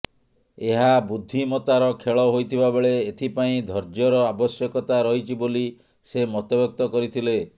ଏହା ବୁଦ୍ଧିମତାର ଖେଳ ହୋଇଥିବା ବେଳେ ଏଥିପାଇଁ ଧର୍ଯ୍ୟର ଆବଶ୍ୟକତା ରହିଛି ବୋଲି ସେ ମତବ୍ୟକ୍ତ କରିଥିଲେ